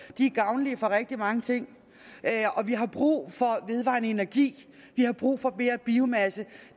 de er gavnlige for rigtig mange ting og vi har brug for vedvarende energi vi har brug for mere biomasse